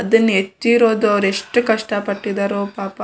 ಅದನ್ನ ಹೆಚ್ಚಿರೋದು ಯೆಸ್ಟ್ ಕಷ್ಟ ಪಟ್ಟಿದ್ದರೋ ಪಾಪ --